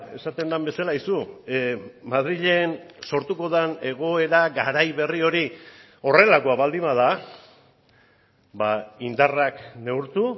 esaten den bezala aizu madrilen sortuko den egoera garai berri hori horrelakoa baldin bada indarrak neurtu